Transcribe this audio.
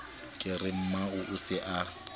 ke re mmao o se